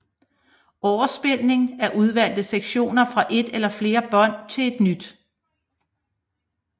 Overspilning af udvalgte sektioner fra et eller flere bånd til et nyt